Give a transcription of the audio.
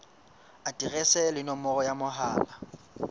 aterese le nomoro ya mohala